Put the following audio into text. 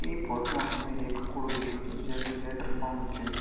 इ फोटु मा हमे एक कुडो दिखणू च जैकु लेंटर पडनू छे।